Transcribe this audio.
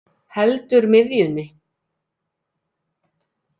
Heldur miðjunni.